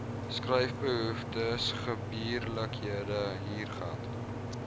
skryfbehoeftes gebeurlikhede huurgeld